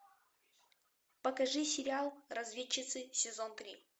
покажи сериал разведчицы сезон три